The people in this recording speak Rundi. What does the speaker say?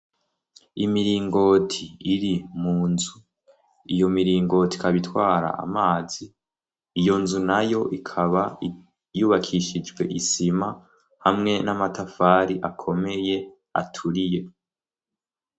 Imiringoti iri mu nzu, iyo miringoti ikaba itwara amazi, iyo nzu nayo ikaba yubakishijwe isima hamwe n'amatafari akomeye aturiye.